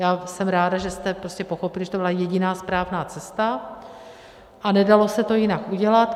Já jsem ráda, že jste prostě pochopili, že to byla jediná správná cesta a nedalo se to jinak udělat.